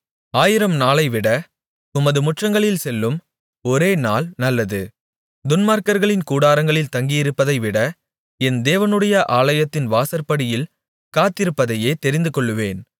ஆயிரம் நாளைவிட உமது முற்றங்களில் செல்லும் ஒரே நாள் நல்லது துன்மார்க்கர்களின் கூடாரங்களில் தங்கியிருப்பதைவிட என் தேவனுடைய ஆலயத்தின் வாசற்படியில் காத்திருப்பதையே தெரிந்துகொள்ளுவேன்